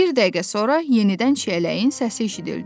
Bir dəqiqə sonra yenidən çiyələyin səsi eşidildi.